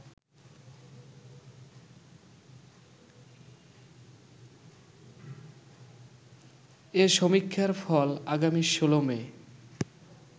এ সমীক্ষার ফল আগামী ১৬ মে